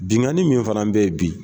Bingani min fana bɛ ye bi.